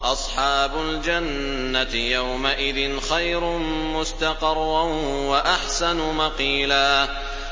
أَصْحَابُ الْجَنَّةِ يَوْمَئِذٍ خَيْرٌ مُّسْتَقَرًّا وَأَحْسَنُ مَقِيلًا